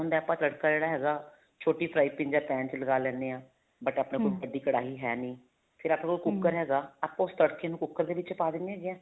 ਹੁੰਦਾ ਹੈ ਆਪਾਂ ਤੜਕਾ ਜਿਹੜਾ ਹੈਗਾ ਛੋਟੀ fry pan ਜਾਂ pan ਵਿੱਚ ਲਗਾ ਲੈਨੇ ਹਾਂ but ਆਪਣੇ ਵੱਡੀ ਕੜਾਹੀ ਹੈਨੀ ਫ਼ਿਰ ਆਪਣੇ ਕੋਲ ਕੁੱਕਰ ਹੈਗਾ ਆਪਾਂ ਉਸ ਤੜਕੇ ਨੂੰ ਕੁੱਕਰ ਦੇ ਵਿੱਚ ਪਾ ਦਿੰਨੇ ਹੈਗੇ ਆਂ